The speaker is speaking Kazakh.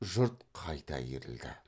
жұрт қайта иірілді